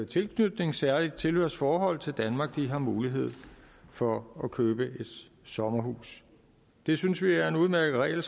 tilknytning et særligt tilhørsforhold til danmark har mulighed for at købe et sommerhus det synes vi er en udmærket regel